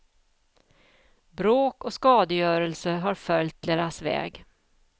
Bråk och skadegörelse har följt deras väg.